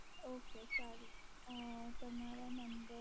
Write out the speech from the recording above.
ok સારું અ તમારા number